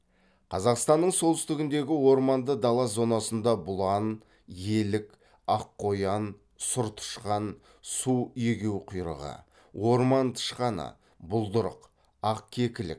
қазақстанның солтүстігіндегі орманды дала зонасында бұлан елік ақ қоян сұр тышқан су егеуқұйрығы орман тышқаны бұлдырық ақ кекілік